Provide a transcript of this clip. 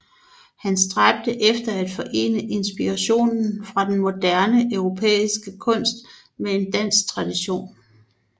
Han stræbte efter at forene inspirationen fra den moderne europæiske kunst med en dansk tradition